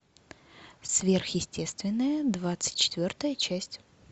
сверхъестественное двадцать четвертая часть